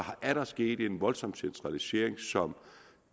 er sket en voldsom centralisering som